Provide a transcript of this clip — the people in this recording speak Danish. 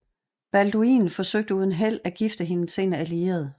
Balduin forsøgte uden held at gifte hende til en allieret